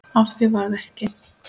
Af því varð ekki.